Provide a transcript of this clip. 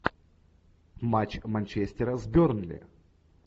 матч манчестера с бернли